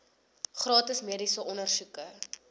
gratis mediese ondersoeke